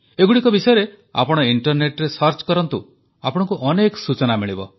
ଏଗୁଡ଼ିକ ବିଷୟରେ ଆପଣ ଇଂଟରନେଟରେ ସର୍ଚ୍ଚ କରନ୍ତୁ ଆପଣଙ୍କୁ ଅନେକ ସୂଚନା ମିଳିବ